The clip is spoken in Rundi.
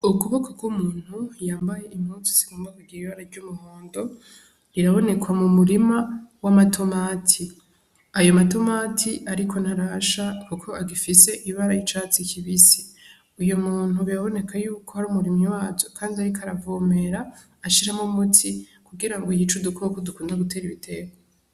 Ukuboko k'umuntu yambaye impuzu zigomba kugira ibara ry'umuhundo, biraboneka mu murima w'amatomati, ayo matomati ariko ntarasha kuko agifise ibara y'icatsi kibisi, uyo muntu biraboneka yuko ari umurimyi wazo kandi ariko aravomera ashiramwo umuti kugira ngo yice udukoko dukunda gutera ibitegwa.